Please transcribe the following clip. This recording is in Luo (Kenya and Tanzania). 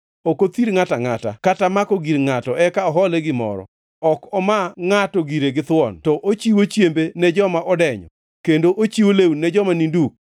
Ok othir ngʼato angʼata kata mako gir ngʼato eka ohole gimoro. Ok omaa ngʼato gire githuon to ochiwo chiembe ne joma odenyo, kendo ochiwo lewni ne joma ni duk.